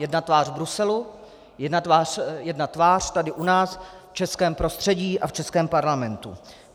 Jedna tvář v Bruselu, jedna tvář tady u nás v českém prostředí a v českém parlamentu.